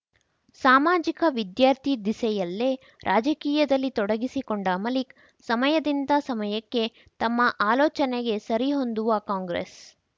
ಸಾಮಾಜಿಕ ವಿದ್ಯಾರ್ಥಿ ದಿಸೆಯಲ್ಲೇ ರಾಜಕೀಯದಲ್ಲಿ ತೊಡಗಿಸಿಕೊಂಡ ಮಲಿಕ್‌ ಸಮಯದಿಂದ ಸಮಯಕ್ಕೆ ತಮ್ಮ ಆಲೋಚನೆಗೆ ಸರಿಹೊಂದುವ ಕಾಂಗ್ರೆಸ್‌